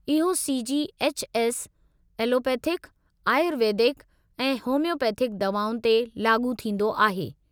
इहो C. G. H. S. Allopathic, Ayurvedic ऐं homeopathic दवाउनि ते लाॻू थींदो आहे।